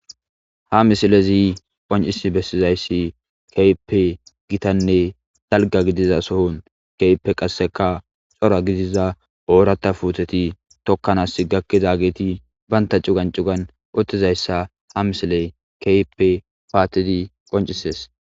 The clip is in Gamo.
Ha misilezi qoncisi bessizayssi keehipe gitanne dalga gidiza sohon keype qasseka xora gidiza oorata fuuteti tokkanas gakkida geti baynta cugan cugan uttizayssa ha misile keype paattidi qoncises.